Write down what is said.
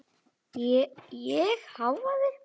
Ég hváði.